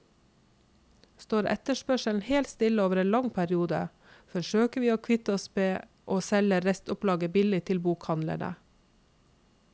Står etterspørselen helt stille over en lang periode, forsøker vi å kvitte oss med ved å selge restopplaget billig til bokhandlene.